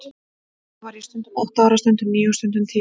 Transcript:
Þá var ég stundum átta ára, stundum níu og stundum tíu.